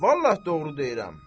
Vallahi doğru deyirəm.